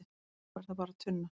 fyrir honum er það bara tunna